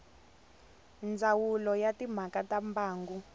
ndzawulo ya timhaka ta mbangu